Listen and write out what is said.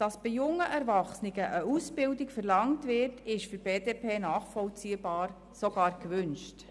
Dass bei jungen Erwachsenen eine Ausbildung verlangt wird, ist für die BDP nachvollziehbar, ja sogar erwünscht.